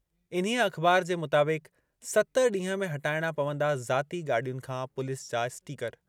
इन्हीअ अख़बार जे मुताबिक़- सत ॾींह में हटाइणा पवंदा ज़ाती गाॾियुनि खां पुलिस जा स्टिकर।